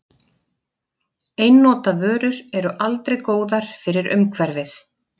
Einnota vörur eru aldrei góðar fyrir umhverfið.